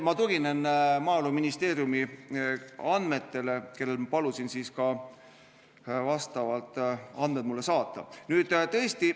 Ma tuginen Maaeluministeeriumi andmetele, kust ma palusin mulle andmed saata.